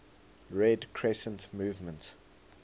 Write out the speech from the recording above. red crescent movement